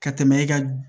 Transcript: Ka tɛmɛ e ka